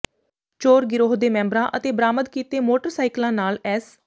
ਚੋਰ ਗਿਰੋਹ ਦੇ ਮੈਂਬਰਾਂ ਅਤੇ ਬਰਾਮਦ ਕੀਤੇ ਮੋਟਰਸਾਈਕਲਾਂ ਨਾਲ ਐਸ